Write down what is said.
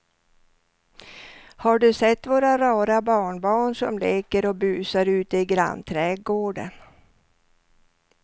Har du sett våra rara barnbarn som leker och busar ute i grannträdgården!